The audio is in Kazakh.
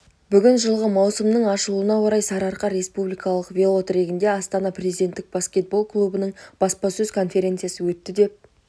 бүгін жылғы маусымның ашылуына орай сарыарқа республикалық велотрегінде астана президенттік баскетбол клубының баспасөз конференциясы өтті деп